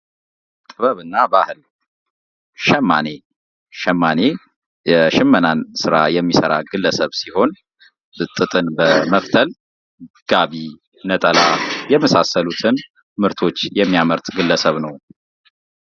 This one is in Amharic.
ጥበብና ባህል ሸማኔ ሸማኔ የሽመናን ስራ የሚሰራ ግለሰብ ሲሆን ጥጥን በመፍተል ጋቢ ነጠላ የመሳሰሉትን ምርቶች የሚያመርትልን ግለሰብ ነው።